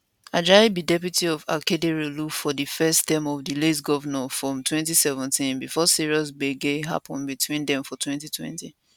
ajayi be deputy to akeredolu for di first term of di late govnor from 2017 bifor serious gbege happun between dem for 2020